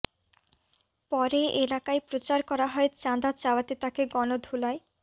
পরে এলাকায় প্রচার করা হয় চাঁদা চাওয়াতে তাকে গণধোলাই